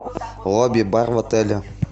лобби бар в отеле